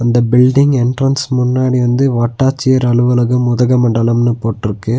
இந்த building entrance முன்னாடி வந்து வட்டாச்சியர் அலுவலகம் உதகமண்டலம்னு போட்ருக்கு.